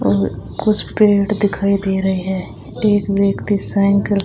और कुछ पेड़ दिखाई दे रहे हैं एक व्यक्ति साइन कर--